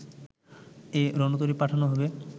এ রণতরী পাঠানো হবে